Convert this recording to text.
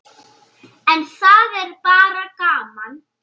En það er bara gaman.